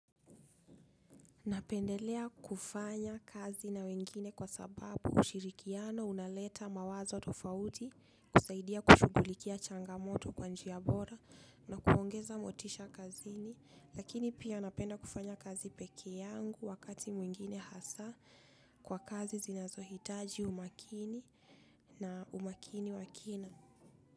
Napendelea kufanya kazi na wengine kwa sababu ushirikiano unaleta mawazo tofauti kusaidia kushughulikia changamoto kwa njia bora na kuongeza motisha kazini lakini pia napenda kufanya kazi pekee yangu wakati mwingine hasa kwa kazi zinazohitaji umakini na umakini wakina.